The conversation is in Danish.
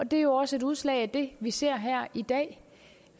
det er jo også et udslag af det vi ser her i dag